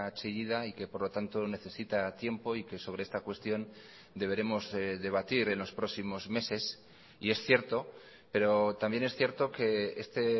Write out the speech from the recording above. chillida y que por lo tanto necesita tiempo y que sobre esta cuestión deberemos debatir en los próximos meses y es cierto pero también es cierto que este